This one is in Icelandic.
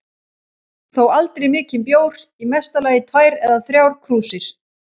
Þó aldrei mikinn bjór, í mesta lagi tvær eða þrjár krúsir.